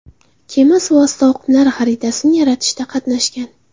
Kema suvosti oqimlari xaritasini yaratishda qatnashgan.